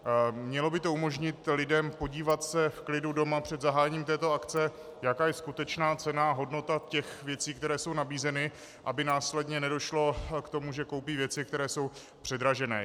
Mělo by to umožnit lidem podívat se v klidu doma před zahájením této akce, jaká je skutečná cena, hodnota těch věcí, které jsou nabízeny, aby následně nedošlo k tomu, že koupí věci, které jsou předražené.